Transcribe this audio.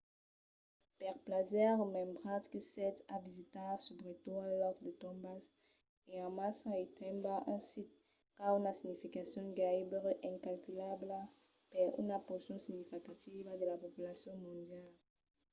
per plaser remembratz que sètz a visitar subretot un lòc de tombas en massa e tanben un sit qu'a una significacion gairebe incalculabla per una porcion significativa de la populacion mondiala